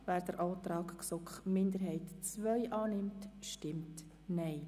Wer dem Antrag der GSoK-Minderheit II den Vorzug gibt, stimmt Nein.